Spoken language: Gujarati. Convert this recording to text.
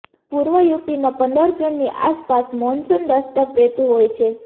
પૂર્વ યુપીમાં પંદર જૂનની આસપાસ મોનસૂન દસ્તક દેતું હોય છે